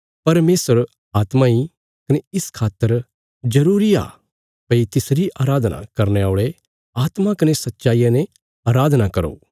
परमेशर आत्मा इ इस खातर जरूरी आ भई तिसरी अराधना करने औल़े आत्मा कने सच्चाईया ने अराधना करो